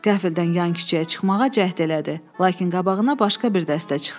Qəfildən yan küçəyə çıxmağa cəhd elədi, lakin qabağına başqa bir dəstə çıxdı.